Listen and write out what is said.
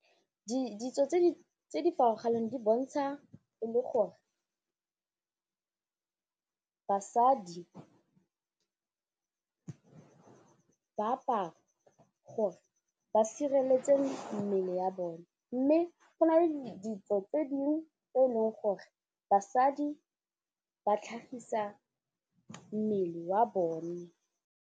Ditso tse di farologaneng di bontsha e le gore basadi ba apara gore ba sireletse mmele ya bone mme go nale ditso tse dingwe e eleng gore basadi ba tlhagisa mmele wa bone.